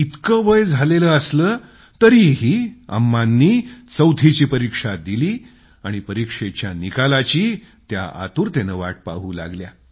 इतकं वय झालेलं असलं तरीही अम्मांनी चैाथीची परीक्षा दिली आणि परीक्षेच्या निकालाची आतुरतेनं वाट पाहू लागल्या